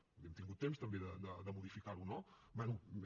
vull dir hem tingut temps també de modificar ho no bé